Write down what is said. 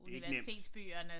Det ikke nemt